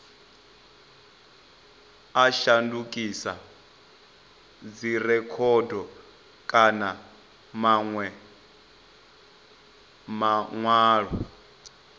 a shandukisa dzirekhodo kana manwe manwalo